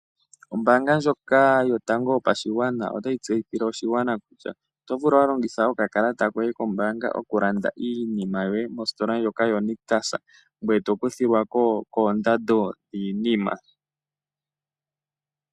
Ombaanga ndjoka yotango yopashigwana otayi tseyithile oshigwana kutya oto vulu okulongitha okakalata koye kombaanga okulanda iinima yoye mositola ndjoka yoNictus ngoye to kuthilwa ko koondando dhiinima.